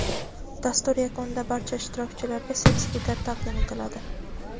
Dastur yakunida barcha ishtirokchilarga sertifikat taqdim etiladi.